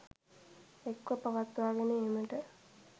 එක්ව පවත්වාගෙන ඒමට